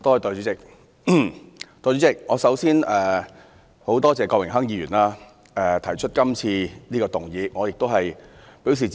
代理主席，我首先很感謝郭榮鏗議員提出今次的議案，我亦表示支持。